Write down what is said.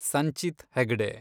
Sanchit Hegde